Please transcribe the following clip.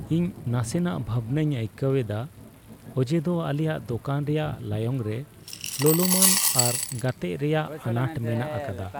ᱤᱧ ᱱᱟᱥᱮᱱᱟᱜ ᱵᱷᱟᱵᱱᱟᱧ ᱟᱹᱭᱠᱟᱹᱣ ᱮᱫᱟ ᱚᱡᱮ ᱫᱚ ᱟᱞᱮᱭᱟᱜ ᱫᱚᱠᱟᱱ ᱨᱮᱭᱟᱜ ᱞᱟᱭᱚᱝ ᱨᱮ ᱞᱚᱞᱚᱢᱟᱱ ᱟᱨ ᱜᱟᱛᱮᱜ ᱨᱮᱭᱟᱜ ᱟᱱᱟᱴ ᱢᱮᱱᱟᱜ ᱟᱠᱟᱫᱟ ᱾